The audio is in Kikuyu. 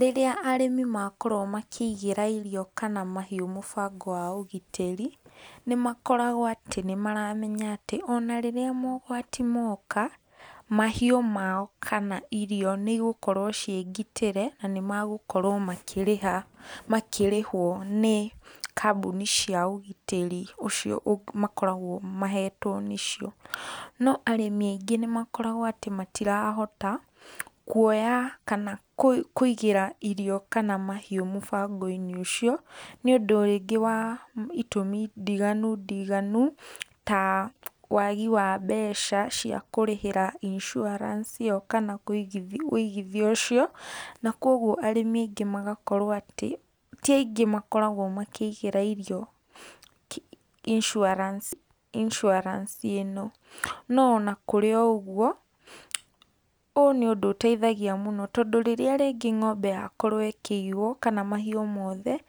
Rĩrĩa arĩmĩ makorwo makĩigĩra irio kana mahĩũ mũbango wa ũgitĩri nĩ makoragwo atĩ nĩ maramenya atĩ ona rĩrĩa maũgwatĩ moka mahĩũ mao kana irio nĩigũkorwo cie gĩtĩre, na magũkorwo makĩrĩha makĩrĩhwo nĩ kambũni cia ũgĩtari ũcio makoragwo mahetwo nĩcio. No arĩmi aingĩ nĩ makoragwo atĩ matirahota kũoya kana kũigĩra irio kana mahĩũ mũbango inĩ ũcio nĩ ũndũ wa itũmi ndĩganũ ndĩganũ, ta wagĩ wa mbeca wa kũrĩhĩra insuarance ĩyo kana wĩigĩthĩa ũcio na kwogwo arĩmi aingĩ magakorwo atĩ tĩ aingĩ makoragwo makĩigĩra ĩrĩo insuarance ĩno no ũna kũrĩ o ũgũo, ũ nĩ ũndũ ũteuĩthĩa mũno tondũ rĩrĩa rĩngĩ ngombe yakorwo ĩkĩiyĩo kana mahiũ mothe